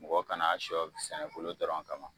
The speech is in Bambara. Mɔgɔ kana sɔ sɛnɛ bulu dɔrɔn kan kama